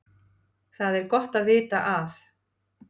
Það er gott að vita að